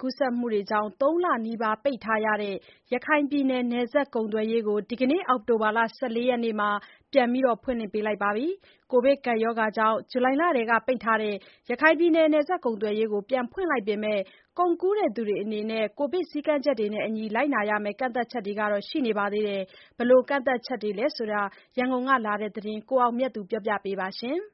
ကူးစက်မှုတွေကြောင့် ၃ လနီးပါးပိတ်ထားရတဲ့ ရခိုင်ပြည်နယ် နယ်စပ်ကုန် သွယ်ရေးကို ဒီနေ့ အောက်တိုဘာ ၁၄ ရက်နေ့မှာ ပြန်လည် ဖွင့်လှစ်ခဲ့ပါတယ်။ ကိုဗစ် ကပ်ရောဂါကြောင့် ဇူလိုင်လကတည်းက ပိတ်ထားတဲ့ ရခိုင်ပြည်နယ် နယ်စပ် ကုန်သွယ်ရေးကို ပြန်ဖွင့်လိုက်ပေမယ့် ကုန်ကူးသူတွေအနေနဲ့ ကိုဗစ်စည်းကမ်းချက်တွေနဲ့အညီ လိုက်နာရမယ့် ကန့်သတ်ချက်တွေတော့ ရှိနေပါသေးတယ်။ ဘယ်လို ကန့်သတ်ချက်တွေလဲဆိုတာ ရန်ကုန်ကလာတဲ့ သတင်းကို ကိုအောင်မြတ်သူက တင်ပြပေးထားပါတယ်။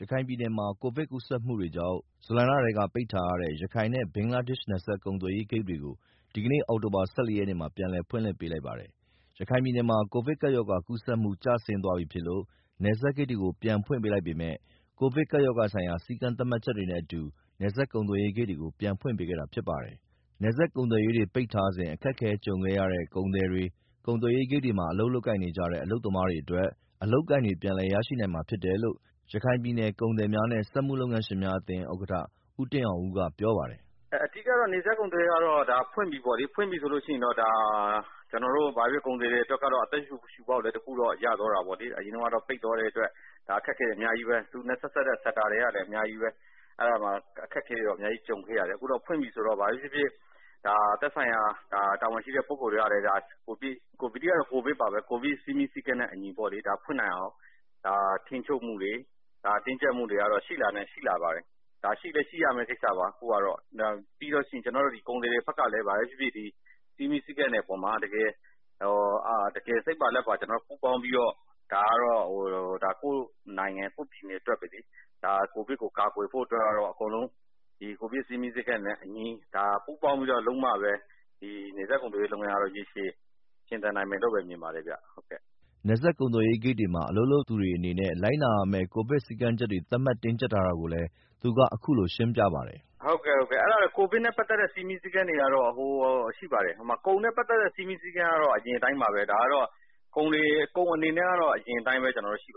ရခိုင်ပြည်နယ်မှာ ကိုဗစ်ကူးစက်မှုတွေကြောင့် ဇူလိုင်လကတည်းက ပိတ်ထားရတဲ့ ရခိုင်နဲ့ ဘင်္ဂလားဒေရှ့်နယ် စပ်ကုန်သွယ်ရေးဂိတ်တွေကို ဒီနေ့ အောက်တိုဘာ ၁၄ ရက်မှာ ပြန်လည် ဖွင့်ပေးလိုက်ပါတယ်။ ရခိုင်ပြည်နယ်မှာ ကိုဗစ်ကပ်ရောဂါ ကူးစက်မှု ကျဆင်းသွားပြီဖြစ်လို့ နယ်စပ်ဂိတ်တွေကို ပြန်ဖွင့်လိုက်ပေမဲ့ ကိုဗစ်ကပ်ရောဂါဆိုင်ရာ စည်းကမ်းသတ်မှတ်ချက်တွေနဲ့ နယ်စပ်ကုန်သွယ်ရေးဂိတ်တွေကို ပြန်ဖွင့်ပေးခဲ့တာဖြစ်ပါတယ်။ နယ်စပ်ကုန်သွယ်ရေးတွေ ပိတ်ထားခဲ့စဉ် အခက်အခဲကြုံခဲ့ရတဲ့ ကုန်သည်တွေ၊ ကုန်သွယ်ရေးဂိတ်တွေမှာ လုပ်ကိုင်နေကြတဲ့ အလုပ်သမားတွေအတွက် အလုပ်အကိုင်တွေ ပြန်လည် ရနိုင်မှာဖြစ်တယ်လို့ ရခိုင်ပြည်နယ် ကုန်သည်များနှင့် စက်မှုလုပ်ငန်းရှင်များအသင်း ဥက္ကဋ္ဌ ဦးတင်အောင်ဦးကပြောပါတယ်။ “အဓိကတော့ နယ်စပ်ကုန်သွယ်ရေးကတော့ ဖွင့်ပြီပေါ့နော်။ ပွင့်ပြီဆိုတော့ ကျနော်တို့ ကုန်သည်တွေအတွက်ကတော့ ဘာပဲဖြစ်ဖြစ် အသက်ရှူပေါက်တော့ ရသွားတာပေါ့လေ။ အရင်တုန်းကတော့ ပိတ်သွားတဲ့အတွက် အခက်အခဲတွေ အများကြီးပဲ။ သူနဲ့ဆက်စပ်တဲ့ဟာတွေလည်း အများကြီးပဲ ကြုံခဲ့ရတယ်။ အခုတော့ ဖွင့်ပြီဆိုတော့ သက်ဆိုင်ရာတာဝန်ရှိသူတွေကလည်း ကိုဗစ်စည်းကမ်းနဲ့အညီ ထိန်းချုပ် တင်းကြပ်တာတွေတော့ ရှိလာပါတယ်။ ဒါ ရှိရမယ့်ကိစ္စတခုလည်း ဖြစ်တယ်။ ကျနော်တို့ ကုန်သည်တွေဘက်ကလည်း စည်းကမ်းတွေပေါ်မှာ တကယ်စိတ်ပါလက်ပါ ပူးပေါင်းပြီးတော့ ဒါကတော့ ကိုယ့်နိုင်ငံ ကိုယ်ပြည်နယ်အတွက်ပဲလေ၊ ကိုဗစ် ကို ကာကွယ်ဖို့အတွက်ကျတော့ အားလုံးပူးပေါင်း လုပ်ဆောင်မှပဲ ဒီနယ်စပ်ကုန်သွယ်ရေးလုပ်ငန်းကတော့ ရေရှည်ရှင်သန်နိုင်မယ်လို့ မြင်ပါတယ်ခင်ဗျာ။” နယ်စပ်ကုန်သွယ်ရေးလုပ်ငန်းတွေမှာ အလုပ်လုပ်သူတွေအနေနဲ့ လိုက်နာရမယ့် ကိုဗစ်စည်းကမ်းချက်တွေ သတ်မှတ် တင်းကြပ်ထားတာကိုလည်း သူက ခုလိုရှင်းပြပါတယ်။ “ကိုဗစ်နဲ့ပတ်သက်တဲ့ စည်းမျဉ်းစည်းကမ်းတွေကတော့ ရှိပါတယ်။ ကုန်နဲ့ပတ်သက်တဲ့ စည်းကမ်းတွေကတော့ အရင်အတိုင်းပါပဲ။ လက်ရှိ ကိုဗစ်စည်းကမ်းတွေကတော့ ပြည်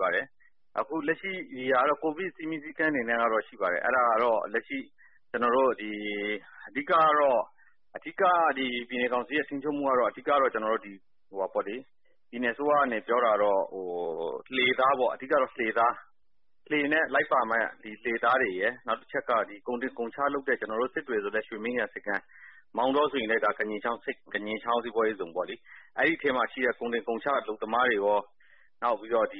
နယ်အစိုးရကနေပြောတာတော့ အဓိကတော့ လှေနဲ့လိုက်ပ့ါမယ့် လှေသားတွေရယ် နောက်တစ်ခုက ကုန်တင်ကုန်ချလုပ်တဲ့ စစ်တွေဆိုရင်လည်း ရွှေမင်းဂံ ဆိပ်ကမ်း မောင်တောဆိုရင်လည်း ကညင်ချောင်းစီးပွားရေးဇုန်ပေါ့လေ အဲဒီထဲမှာရှိတဲ့ ကုန်တင်ကုန်ချ အလုပ်သမားတွေရော ဆေးနှစ်ခါထိုး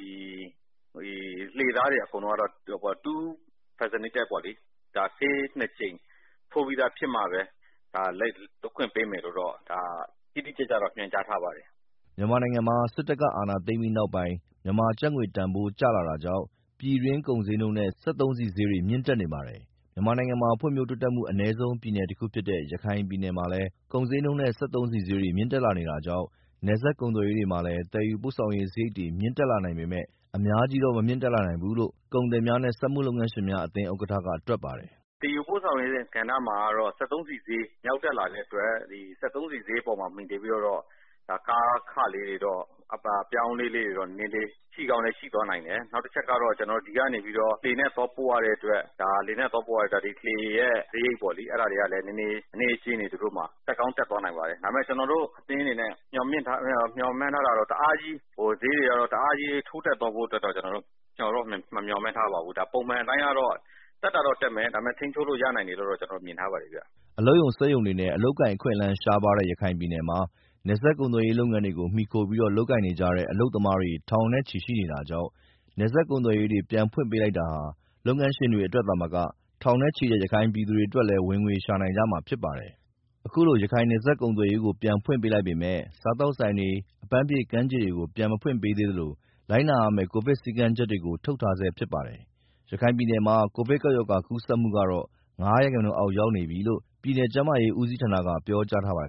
ပြီးသားဖြစ်ရမှပဲ လိုက်ခွင့်ပေးမယ်လို့တော့ တိတိကျကျညွန်ကြားထားပါတယ်။” မြန်မာနိုင်ငံမှာ စစ်တပ်က အာဏာသိမ်းပြီးနောက်ပိုင်း မြန်မာကျပ်ငွေ တန်ဖိုးကျလာတာကြောင့် ပြည်တွင်း ကုန်းဈေးနှုန်းတွေနဲ့ စက်သုံးဆီဈေးတွေ မြင့်တက်နေပါတယ်။ မြန်မာနိုင်ငံမှာ ဖွံ့ဖြိုးတိုးတက်မှု အနည်းဆုံးပြည်နယ်တခုဖြစ်တဲ့ ရခိုင်ပြည်နယ်မှာလည်း ကုန်ဈေးနှုန်းနဲ့စက်သုံးဆီဈေးတွေ မြင့်တက်လာနေတာကြောင့် နယ်စပ်ကုန်သွယ်ရေးမှာလည်း သယ်ယူပို့ဆောင်ရေးစရိတ်တွေ မြင့်တက်လာနိုင်ပေမယ့် အများကြီးတော့ မတက်နိုင်ဘူးလို့ ကုန်သည်များနဲ့ စက်မှုလုပ်ငန်းရှင်များအသင်းဥက္ကဋ္ဌက တွက်ပါတယ်။ “စက်သုံးဆီဈေး မြင့်တက်လာနေတဲ့အတွက် ကားခတွေကတော့ အပြောင်းအလဲတွေတော့ ဖြစ်လာနိုင်တယ်။ နောက်တခုက ဒီကနေပြီးတော့ လှေနဲ့သွားပို့ရတဲ့အတွက် ဒီလှေရဲ့ စရိတ်ပေါ့နော်။ အဲဒါတွေကလည်း နည်းနည်းလေး သူတို့မှာ တက်ကောင်းတက်သွားနိုင်ပါတယ်။ ဒါပေမယ့် ကျနော်တို့အသင်းအနေနဲ့ မေ ျှာ်မှန်းထားတာကတော့ တအားကြီး ထိုးတက်သွားဖို့အတွက် မမျှော်မှန်းထားပါဘူး။ ပုံမှန်အားဖြင့် တက်တာတော့ တက်မယ်။ ဒါပေမယ့် ထိန်းချုပ်လို့ ရနိုင်တယ်လို့ ကျနော်တို့ မျှော်မှန်းထားပါတယ်။” အလုပ်ရုံစက်ရုံတွေနဲ့ အလုပ်အကိုင်အခွင့်အလမ်းရှားပါးတဲ့ ရခိုင်ပြည်နယ်မှာ နယ်စပ်ကုန်သွယ်ရေး လုပ်ငန်းတွေကို မှီခိုပြီးတော့လုပ်ကိုင်နေကြတဲ့ အလုပ်သမားတွေ ထောင်နဲ့ချီရှိနေတာကြောင့် နယ်စပ်ကုန်သွယ်ရေးတွေ ပြန်ဖွင့်ပေးလိုက်တာဟာ လုပ်ငန်းရှင်တွေအတွက်သာမကထောင်နဲ့ချီတဲ့ ရခိုင်ပြည်သူတွေအတွက်လည်း ဝင်ငွေရှာနိုင်ကြမှာဖြစ်ပါတယ်။ အခုလို ရခိုင် နယ်စပ်ကုန်သွယ်ရေးကို ပြန်ဖွင့်ပေးလိုက်ပေမယ့် စားသောက်ဆိုင်တွေ၊ အပန်းဖြေကမ်းခြေတွေကို ပြန်ဖွင့်မပေးသေးသလို လိုက်နာရမယ့် ကိုဗစ်စည်းကမ်းချက်တွေကို ထုတ်ပြန်ထားဆဲဖြစ်ပါတယ်။ ပြည်နယ်ထဲမှာ ကိုဗစ်ကပ်ရောဂါ ကူးစက်မှှုကတော့ ၅% အောက် ရောက်နေပြီလို့ ပြည်နယ် ကျန်းမာရေးဦးစီးဌာနက ပြောကြားထားပါတယ်